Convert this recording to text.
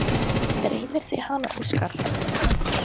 Dreymir þig hana, Óskar?